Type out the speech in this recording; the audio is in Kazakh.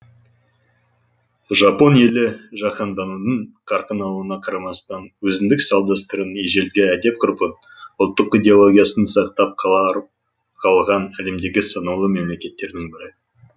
жапон елі жаһанданудың қарқын алуына қарамастан өзіндік салт дәстүрін ежелгі әдеп ғұрпын ұлттық идеологиясын сақтап қала қалған әлемдегі санаулы мемлекеттердің бірі